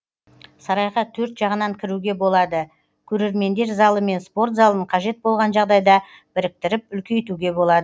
сарайға төрт жағынан кіруге болады көрермендер залы мен спорт залын қажет болған жағдайда біріктіріп үлкейтуге болады